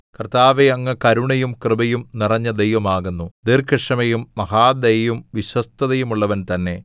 കർത്താവേ അങ്ങ് കരുണയും കൃപയും നിറഞ്ഞ ദൈവമാകുന്നു ദീർഘക്ഷമയും മഹാദയയും വിശ്വസ്തതയുമുള്ളവൻ തന്നെ